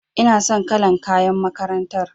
Ina son kalar kayan makarantar.